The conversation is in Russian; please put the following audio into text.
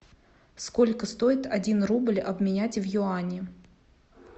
сколько стоит один рубль обменять в юани